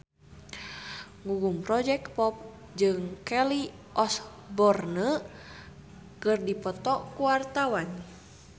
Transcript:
Gugum Project Pop jeung Kelly Osbourne keur dipoto ku wartawan